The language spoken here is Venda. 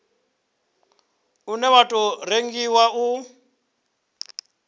une wa tou rengiwa u